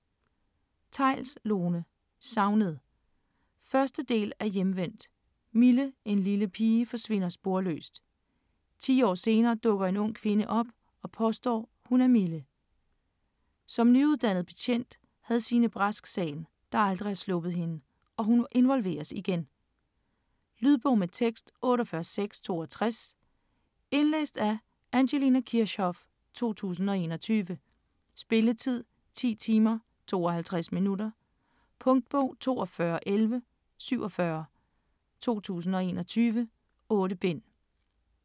Theils, Lone: Savnet 1. del af Hjemvendt. Mille, en lille pige, forsvinder sporløst. 10 år senere dukker en ung kvinde op og påstår, hun er Mille. Som nyuddannet betjent havde Signe Brask sagen, der aldrig har sluppet hende, og hun involveres igen. Lydbog med tekst 48662 Indlæst af Angelina Kirchhoff, 2021. Spilletid: 10 timer, 52 minutter. Punktbog: 421187 2021. 8 bind.